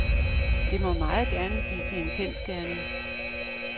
Det må meget gerne blive til en kendsgerning.